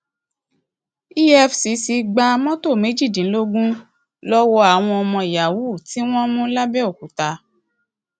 efcc gba mọtò méjìdínlógún lọwọ àwọn ọmọ yahoo tí wọn mú lápbèokúta